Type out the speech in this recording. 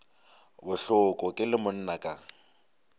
bohloko ke le monna ka